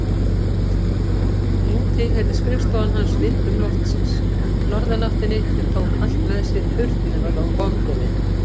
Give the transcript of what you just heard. Nú tilheyrði skrifstofan hans vindum loftsins, norðanáttinni sem tók allt með sér burt nema vonbrigðin.